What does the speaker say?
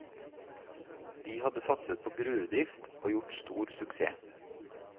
De hadde satset på gruvedrift og gjort stor suksess.